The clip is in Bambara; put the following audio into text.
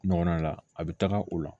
Ɲɔgɔnna la a bɛ taga o la